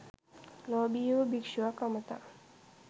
ලෝභී වූ භික්ෂුවක් අමතා